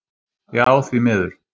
Já því miður.